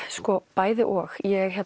bæði og